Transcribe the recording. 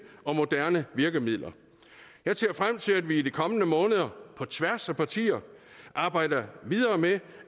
og moderne virkemidler jeg ser frem til at vi i de kommende måneder på tværs af partier arbejder videre med